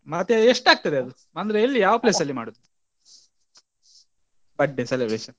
ಮತ್ತೆ ಎಷ್ಟಾಗ್ತದೆ ಅದು ಅಂದ್ರೆ ಎಲ್ಲಿ ಯಾವ place ಅಲ್ಲಿ ಮಾಡುದು birthday celebration ?